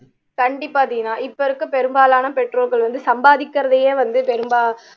கண்டிப்பா தீனா இப்போ இருக்க பெரும்பாலான பெற்றோர்கள் வந்து சம்பாதிக்குறதையே வந்து பெரும்பா